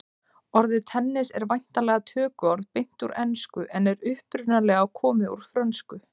Orðið tennis en væntanlega tökuorð beint úr ensku en er upprunalega komið úr frönsku.